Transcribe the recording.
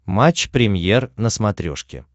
матч премьер на смотрешке